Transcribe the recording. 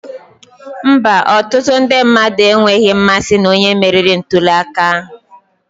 Mba, ọtụtụ ndị mmadụ enweghị mmasị na onye meriri ntuli aka ahụ